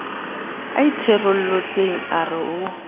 a itherolotseng a re o